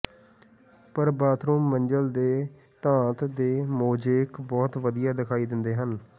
ਪਰ ਬਾਥਰੂਮ ਮੰਜ਼ਲ ਤੇ ਧਾਤ ਦੇ ਮੋਜ਼ੇਕ ਬਹੁਤ ਵਧੀਆ ਦਿਖਾਈ ਦਿੰਦੇ ਹਨ